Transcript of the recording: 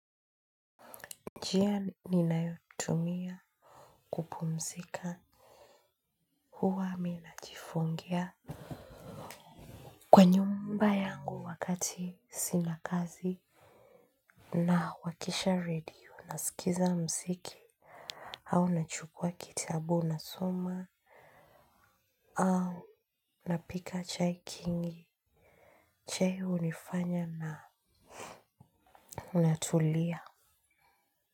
Njia ninayotumia kupumzika huwa miminajifungia. Kwa nyumba yangu wakati sina kazi na wakisha radio na sikiza muziki. Au nachukua kitabu na soma au napika chai kingi. Chei hunifanya na natulia.